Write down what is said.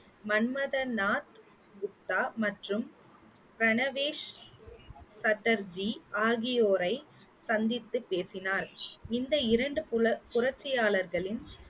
மன்மதநாத் குப்தா மற்றும் பிரணவேஷ் சட்டர்ஜி ஆகியோரை சந்தித்து பேசினார் இந்த இரண்டு புல~ புரட்சியாளர்களின்